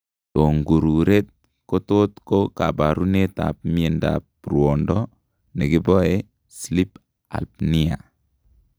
Tongururet kotot ko kabarunet ab miandab ruondo nekiboe sleep apnea